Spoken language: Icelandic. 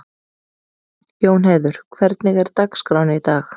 Jónheiður, hvernig er dagskráin í dag?